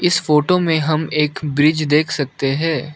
इस फोटो में हम एक ब्रिज देख सकते हैं।